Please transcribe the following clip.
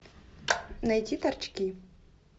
найти торчки